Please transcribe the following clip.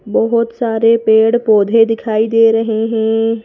बहुत सारे पेड़-पौधे दिखाई दे रहे हैं।